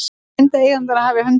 Reyndi eigandinn að hemja hundinn